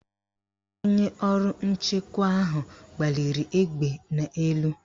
Onye ọrụ nchewa ahụ gbaliri egbe n' elu.